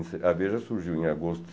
A Veja surgiu em agosto